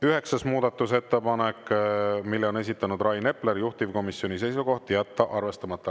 Üheksas muudatusettepanek, mille on esitanud Rain Epler, juhtivkomisjoni seisukoht: jätta arvestamata.